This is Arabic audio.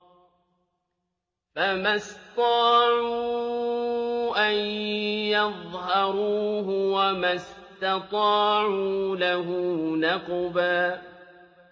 فَمَا اسْطَاعُوا أَن يَظْهَرُوهُ وَمَا اسْتَطَاعُوا لَهُ نَقْبًا